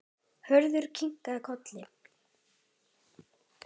Hörður kinkaði kolli.